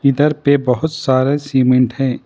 इधर पे बहुत सारे सीमेंट हैं।